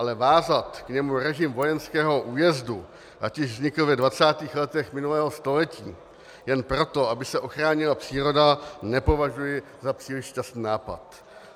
Ale vázat k němu režim vojenského újezdu, ať už vznikl ve 20. letech minulého století, jen proto, aby se ochránila příroda, nepovažuji za příliš šťastný nápad.